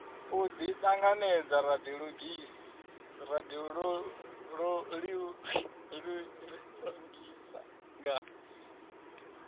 u ḓiṱanganedza ra ḓiṱongisa nga